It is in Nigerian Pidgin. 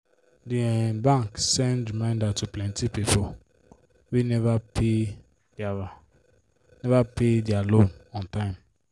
di um bank send reminder to plenty people wey never pay their never pay their loan on time.